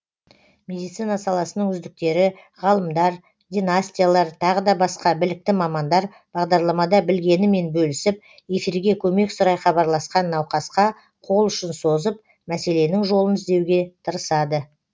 медицина саласының үздіктері ғалымдар династиялар тағы басқа білікті мамандар бағарламада білгенімен бөлісіп эфирге көмек сұрай хабарласқан науқасқа қолұшын созып мәселенің жолын іздеуге тырысады